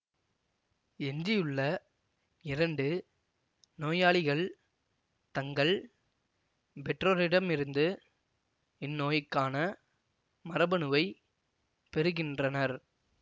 எஞ்சியுள்ள இரண்டு நோயாளிகள் தங்கள் பெற்றோரிடமிருந்து இந்நோய்க்கான மரபணுவைப் பெறுகின்றனர்